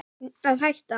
Að hætta?